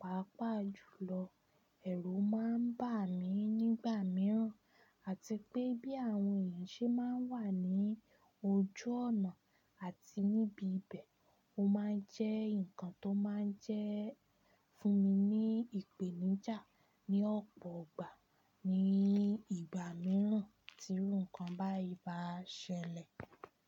pàápàá jùlọ ẹ̀rù ma ń bà mí nígbà mìíràn àti pé bí àwọn èèyàn ṣe máa n wà ní ojú ọ̀nà àti níbi ibẹ̀, o máa jẹ́ nǹkan tó máa jẹ́ fún mi ní ìpèníjà ní ọ̀pọ̀ ọgbà ní ìgbà mìíràn tí iru'kan báyìí bá ṣẹlẹ̀.